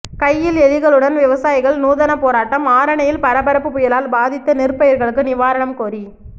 கையில் எலிகளுடன் விவசாயிகள் நூதன போராட்டம் ஆரணியில் பரபரப்பு புயலால் பாதித்த நெற்பயிர்களுக்கு நிவாரணம் கோரி